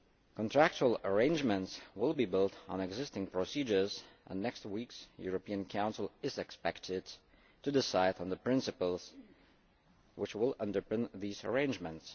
Contractual arrangements will be built on existing procedures and next week's European Council is expected to decide on the principles which will underpin these arrangements.